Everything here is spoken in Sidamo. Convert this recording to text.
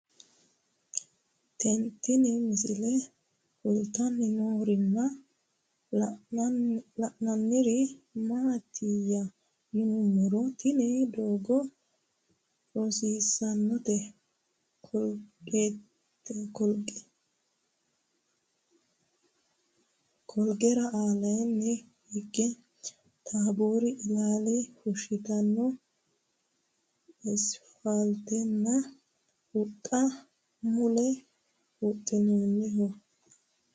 Tinni misile kulittanni noorrinna la'nanniri maattiya yinummoro tinni doogo rosiisannotte koleegera aleenni hige tabbori illaalla fushittanno isifaalittettinna huxxu mulella huxxamminnoho